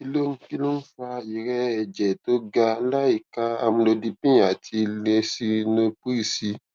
kí ló ń kí ló ń fa ìrẹẹ ẹjẹ tó ga láìka amlodipine àti lisinopril sí